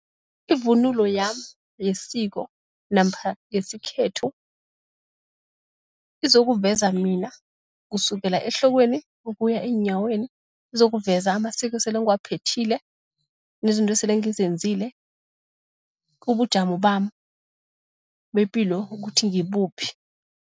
Ivunulo yami yesiko namkha yesikhethu izokuveza mina kusukela ehlokweni ukuya eenyaweni, izokuveza amasiko esele ngiwaphethile nezinto esele ngizenzile, kubujamo bami bepilo ukuthi ngibuphi.